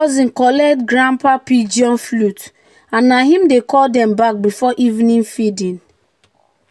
"cousin collect grandpa pigeon flute and na him dey call dem back before evening feeding."